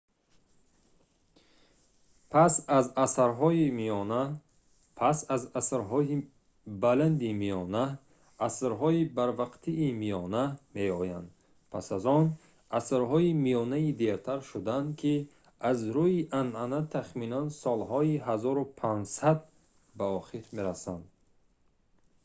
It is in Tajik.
пас аз асрҳои баланди миёна асрҳои барвақтии миёна меоянд пас аз он асрҳои миёнаи дертар шудаанд ки аз рӯи анъана тахминан солҳои 1500 ба охир мерасанд